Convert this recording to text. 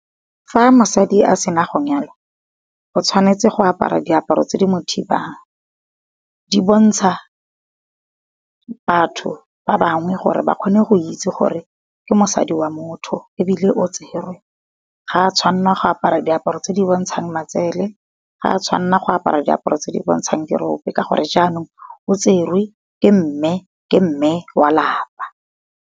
Fa mosadi a sena go nyalwa, o tshwanetse go apara diaparo tse di mo thibang. Di bontsha, batho ba bangwe gore ba kgone go itse gore ke mosadi wa motho ebile o tserwe. Ga a tshwanna go apara diaparo tse di bontshang matsele, ga a tshwanna go apara diaparo tse di bontshang dirope, ka gore jaanong o tserwe ke mme wa lapa.